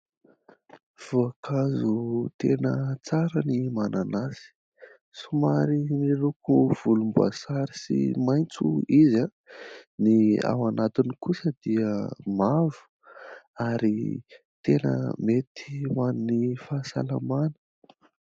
Voankazo tena tsara ny mananasy. Somary miloko volomboasary sy maitso izy ; ny ao anatiny kosa dia mavo ary tena mety ho an'ny fahasalamana.